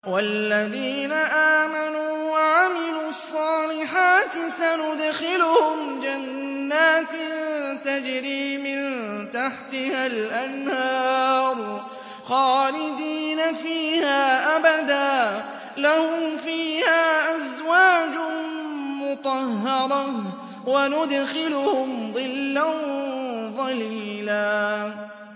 وَالَّذِينَ آمَنُوا وَعَمِلُوا الصَّالِحَاتِ سَنُدْخِلُهُمْ جَنَّاتٍ تَجْرِي مِن تَحْتِهَا الْأَنْهَارُ خَالِدِينَ فِيهَا أَبَدًا ۖ لَّهُمْ فِيهَا أَزْوَاجٌ مُّطَهَّرَةٌ ۖ وَنُدْخِلُهُمْ ظِلًّا ظَلِيلًا